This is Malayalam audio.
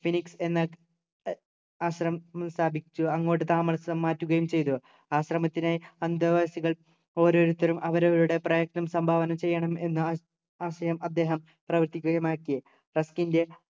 phoenix എന്ന ഏർ ആശ്രമം സ്ഥാപിച്ചു അങ്ങോട്ട് താമസം മാറ്റുകയും ചെയ്തു ആശ്രമത്തിലെ അന്തേവാസികൾ ഓരോരുത്തരും അവരവരുടെ പ്രയത്നം സംഭാവന ചെയ്യണം എന്ന ആശയം അദ്ദേഹം പ്രാവർത്തികമാക്കി trust ൻ്റെ